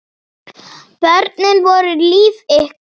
Börnin voru líf ykkar.